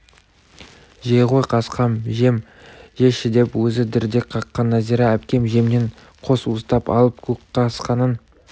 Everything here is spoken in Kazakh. жей ғой қасқам жем жеші деп өзі дірдек қаққан нәзира әпкем жемнен қос уыстап алып көкқасқаның